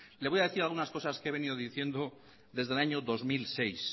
le voy a decir algunas cosas que he venido diciendo desde el año dos mil seis